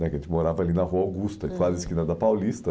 Porque a gente morava ali na Rua Augusta, uhum, quase a esquina da Paulista.